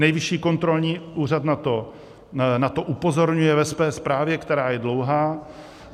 Nejvyšší kontrolní úřad na to upozorňuje ve své zprávě, která je dlouhá.